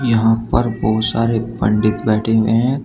यहां पर बहुत सारे पंडित बैठे हुए हैं।